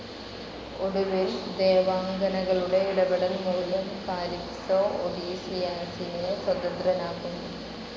ഒടുവിൽ ദേവാംഗനകളുടെ ഇടപെടൽ മൂലം കാലിപ്സോ ഒഡീസിയാസിനെ സ്വതന്ത്രനാക്കുന്നു.